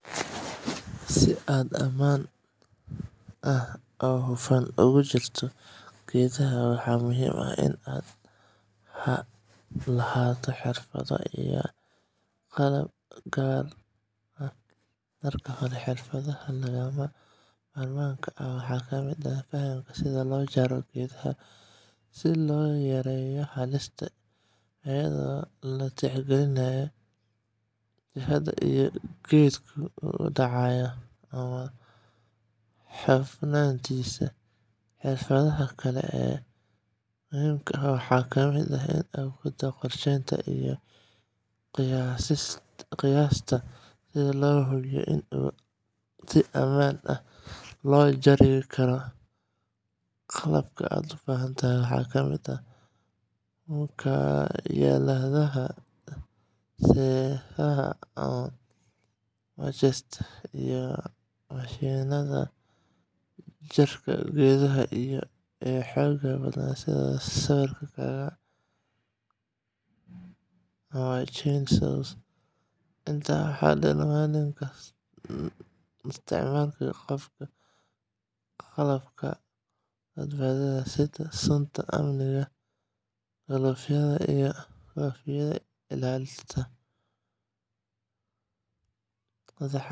Si aad si ammaan ah oo hufan ugu jarto geedaha, waxaa muhiim ah inaad marka hore hubiso qalabka aad isticmaaleyso sida miinshaar ama maqas geed-jare ah inuu nadiif yahay oo si fiican u shaqeynayo. Intaa kadib waa in aad xirataa dhar ku habboon sida galoofisyo, muraayado indhaha ah iyo kabaha adag si aad uga hortagto dhaawacyo suurtagal ah. Marka aad jarayso geedka, fiiri jihada uu u foorarsan yahay si aad uga digtoonaato meesha uu dhici karo. Sidoo kale, ha u istaagin meel halis ah oo hoos uga beegan halka aad jarayso. Haddii geedku weyn yahay, waxaa fiican inaad la tashato qof khabiir ah ama adeegsatid qalab koronto si ay howshu u noqoto mid fudud oo badbaado leh. Jarista geedaha si habboon waxay ilaalin kartaa deegaanka iyo dadka kugu xeeran, iyadoo lagaga hortagayo dhaawac iyo burbur. Waana sida ugu wanaagsan ee loo wajaho jarista geedaha si mas’uuliyad leh.